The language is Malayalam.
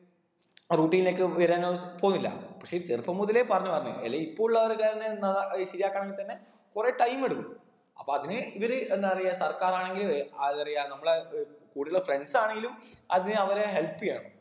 ആ routine ഒക്കെ വരാനോ പോന്നില്ല പക്ഷെ ഈ ചെറുപ്പം മുതലേ പറഞ്ഞ് പറഞ്ഞ് അല്ലെങ്കി ഇപ്പൊ ആൾക്കാരന്നെ എന്നാ അത് ശരിയാക്കണെങ്കി തന്നെ കൊറേ time എടുക്കും അപ്പൊ അതിന് ഇവര് എന്താ പറയാ സർക്കാർ ആണെങ്കിലും അഹ് ന്നറയാ നമ്മളെ ഏർ കൂടെ ഉള്ള friends ആണെങ്കിലും അതിന് അവരെ help എയ്യണം